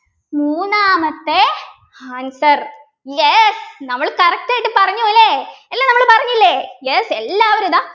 മൂന്നാമത്തെ answer yes നമ്മള് correct ആയിട്ട് പറഞ്ഞു ല്ലേ അല്ലെ നമ്മള് പറഞ്ഞില്ലേ yes എല്ലാവരു ഇതാ